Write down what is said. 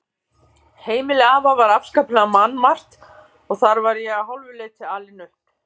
Heimili afa var afskaplega mannmargt og þar var ég að hálfu leyti alinn upp.